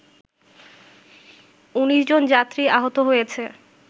১৯ জন যাত্রী আহত হয়েছে